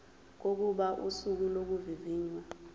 kokuba usuku lokuvivinywa